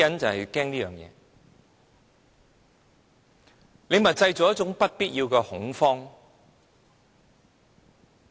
政府正在製造不必要的恐慌。